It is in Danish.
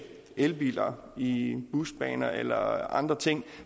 elbiler i busbaner eller andre ting